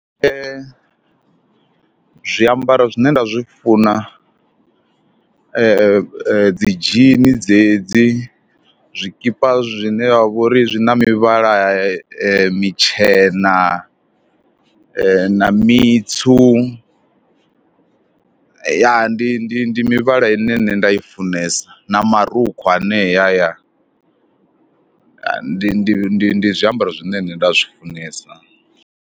Zwiambaro zwine nda zwi funa dzi dzhini dzedzi, zwikipa zwine ha vha uri zwi na mivhala mitshena na mitswu, ya ndi ndi ndi mivhala ine nṋe nda i funesa, na marukhu aneya. Ndi ndi ndi ndi zwiambaro zwine nṋe nda zwi funesa.